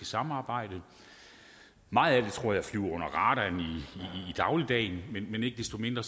samarbejde meget af det tror jeg flyver under radaren i dagligdagen men ikke desto mindre